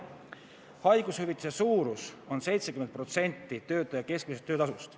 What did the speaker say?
Haigushüvitise suurus on 70% töötaja keskmisest töötasust.